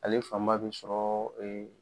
Ale fan bɛ sɔrɔ